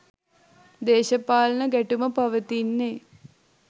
දේශපාලන ගැටුම පවතින්නේ.